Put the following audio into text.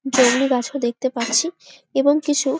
জংলি গাছও দেখতে পারছি এবং কিছু--